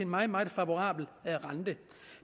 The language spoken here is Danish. meget meget favorabel rente